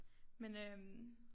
Men øh